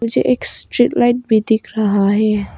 मुझे एक street light भी दिख रहा है।